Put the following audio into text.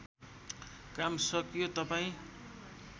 काम सकियो तपाईँ